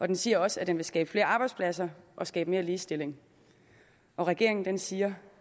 den siger også at den vil skabe flere arbejdspladser og skabe mere ligestilling regeringen siger